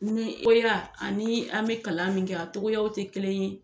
ani an bɛ kalan min kɛ a togoyaw tɛ kelen ye.